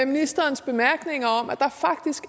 ministerens bemærkninger om at der